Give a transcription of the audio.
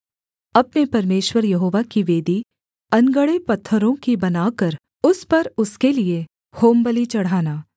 अपने परमेश्वर यहोवा की वेदी अनगढ़े पत्थरों की बनाकर उस पर उसके लिये होमबलि चढ़ाना